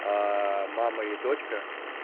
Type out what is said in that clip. аа мама и дочка